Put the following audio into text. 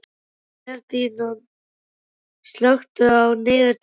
Ferdínand, slökktu á niðurteljaranum.